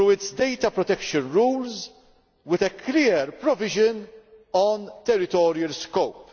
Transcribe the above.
down data protection rules with a clear provision on territorial scope.